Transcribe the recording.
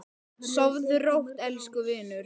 Sofðu rótt, elsku vinur.